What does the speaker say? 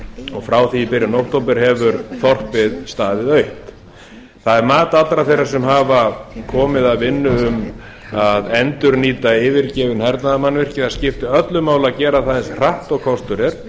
og frá því í byrjun október hefur þorpið staðið autt það er mat allra þeirra sem hafa komið að vinnu um að endurnýta yfirgefin hernaðarmannvirki að það skipti öllu máli að gera það eins hratt og kostur er